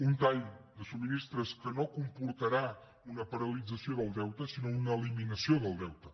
un tall de subministraments que no comportarà una paralització del deute sinó una eliminació del deute